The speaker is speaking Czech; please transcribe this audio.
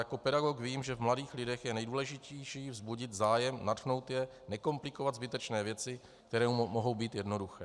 Jako pedagog vím, že v mladých lidech je nejdůležitější vzbudit zájem, nadchnout je, nekomplikovat zbytečně věci, které mohou být jednoduché.